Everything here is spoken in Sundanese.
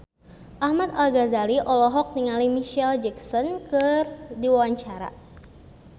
Ahmad Al-Ghazali olohok ningali Micheal Jackson keur diwawancara